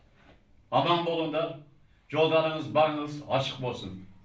аман болыңдар жолдарыңыз барыңыз ашық болсын